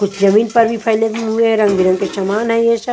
कुछ जमीन पर भी फैले हुए हैं रंग बिरंग के समान है ये सब।